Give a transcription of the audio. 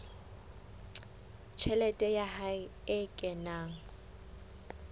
tjhelete ya hae e kenang